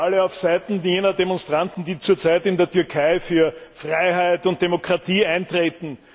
Natürlich sind wir alle auf Seiten jener Demonstranten, die zur Zeit in der Türkei für Freiheit und Demokratie eintreten.